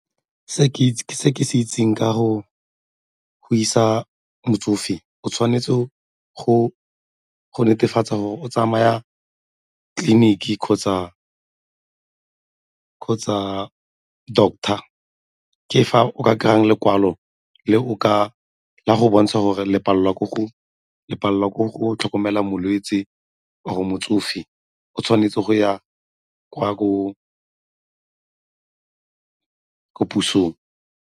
Se ke se itseng ka go isa motsofe o tshwanetse go netefatsa gore o tsamaya tleliniki kgotsa doctor ke fa o ka kry-a lekwalo ka go bontsha gore le palelwa ke go tlhokomela molwetse, motsofe o tshwanetse go ya ko pusong.